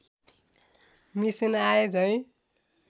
machine आए झैँ